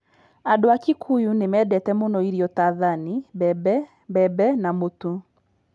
Andũ a Kikuyu nĩ mendete mũno irio ta thani, mbembe, mbembe, na mũtu.